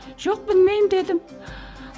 жоқ білмеймін дедім